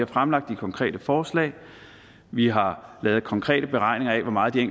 fremlagt de konkrete forslag vi har lavet konkrete beregninger af hvor meget de